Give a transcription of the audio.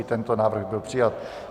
I tento návrh byl přijat.